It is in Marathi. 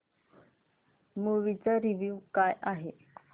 मूवी चा रिव्हयू काय आहे